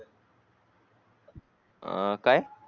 अं काय?